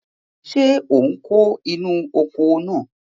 Ṣé ò ń kó inú oko náà?